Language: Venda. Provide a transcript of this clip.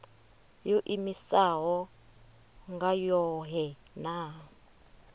yo iimisaho nga yohe na